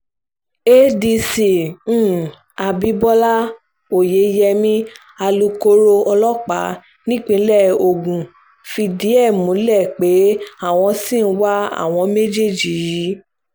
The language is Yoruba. adc um abibọlá oyeyẹmi alūkkoro ọlọ́pàá nípìnlẹ̀ ogun fìdí ẹ̀ um múlẹ̀ pé àwọn ṣì ń wá àwọn méjèèjì yìí